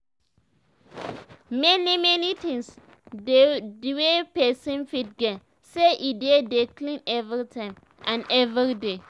many many things dey we pesin fit gain say e dey dey clean everytime and every day